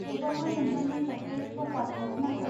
थेवबाबो नोंथांनो सासे प्र'पार क'च नांगौ।